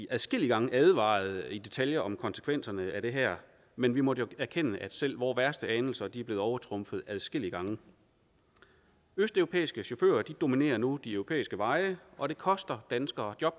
adskillige gange advarede i detaljer om konsekvenserne af det her men vi måtte jo erkende at selv vores værste anelser er blevet overtrumfet adskillige gange østeuropæiske chauffører dominerer nu de europæiske veje og det koster danskere job